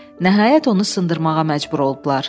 Nəhayət onu sındırmağa məcbur oldular.